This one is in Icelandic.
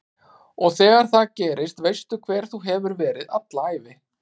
Og þegar það gerist veistu hver þú hefur verið alla ævi